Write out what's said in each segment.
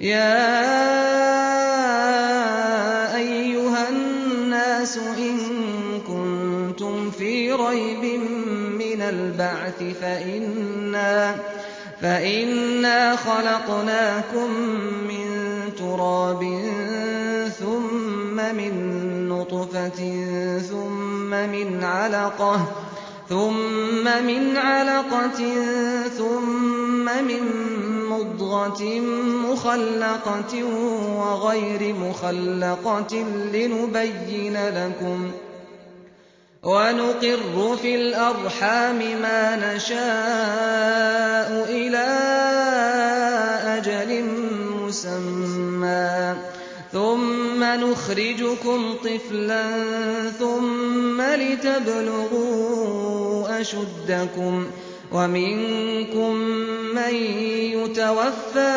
يَا أَيُّهَا النَّاسُ إِن كُنتُمْ فِي رَيْبٍ مِّنَ الْبَعْثِ فَإِنَّا خَلَقْنَاكُم مِّن تُرَابٍ ثُمَّ مِن نُّطْفَةٍ ثُمَّ مِنْ عَلَقَةٍ ثُمَّ مِن مُّضْغَةٍ مُّخَلَّقَةٍ وَغَيْرِ مُخَلَّقَةٍ لِّنُبَيِّنَ لَكُمْ ۚ وَنُقِرُّ فِي الْأَرْحَامِ مَا نَشَاءُ إِلَىٰ أَجَلٍ مُّسَمًّى ثُمَّ نُخْرِجُكُمْ طِفْلًا ثُمَّ لِتَبْلُغُوا أَشُدَّكُمْ ۖ وَمِنكُم مَّن يُتَوَفَّىٰ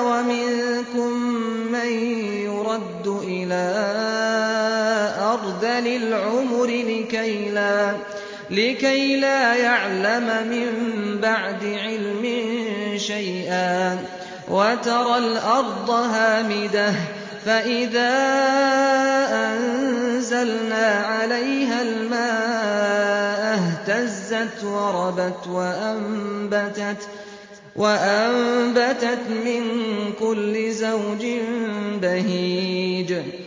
وَمِنكُم مَّن يُرَدُّ إِلَىٰ أَرْذَلِ الْعُمُرِ لِكَيْلَا يَعْلَمَ مِن بَعْدِ عِلْمٍ شَيْئًا ۚ وَتَرَى الْأَرْضَ هَامِدَةً فَإِذَا أَنزَلْنَا عَلَيْهَا الْمَاءَ اهْتَزَّتْ وَرَبَتْ وَأَنبَتَتْ مِن كُلِّ زَوْجٍ بَهِيجٍ